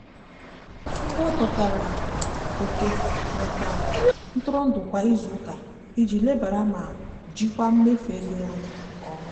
o wepụtara oke maka ntụrụndụ kwa izuụka iji lebara ma jikwaa mmefu ego ya anya nke ọma.